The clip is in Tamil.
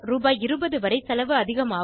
20 வரை செலவு அதிகமாகும்